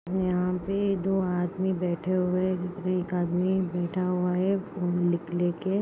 यहा पे दो आदमी बैठे हुए है एक आदमी बैठा हुआ है लेके।